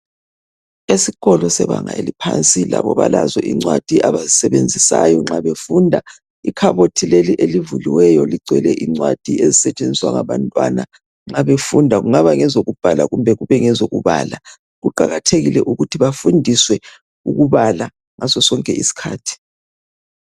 Isikolo sebanga eliphansi labo balazo incwadi abazisebenzisayo nxa befunda. Ikhabothi leli elivuliweyo lingcwele incwadi ezisetshenziswa ngabantwana nxa befunda kungaba ngezokubhala kumbe kube ngezokubala. Kuqakathekile ukuthi bafundiswe ukubala ngaso sonke isikhathi.